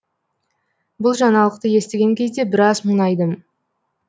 бұл жаңалықты естіген кезде біраз мұңайдым